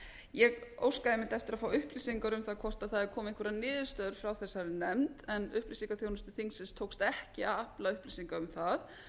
ég óskaði einmitt eftir að fá upplýsingar um það hvort það hefðu komið einhverjar niðurstöður frá þessari nefnd en upplýsingaþjónustu þingsins tókst að afla upplýsinga um það